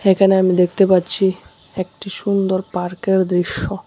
এখানে আমি দেখতে পারছি একটি সুন্দর পার্কের দৃশ্য।